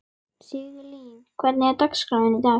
Sigurlín, hvernig er dagskráin í dag?